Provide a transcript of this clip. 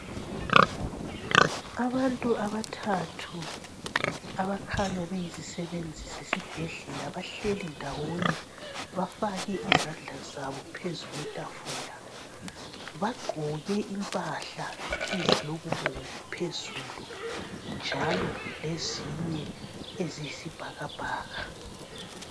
Abantu abathathu abakhanya beyizisebenzi zesibhedlela bahleli ndawonye bafake izandla zabo phezu kwetafula. Bagqoke impahla ezilokubomvu phezulu, njalo lezinye eziyisibhakabhaka.